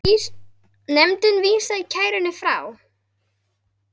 Nefndin vísaði kærunni frá.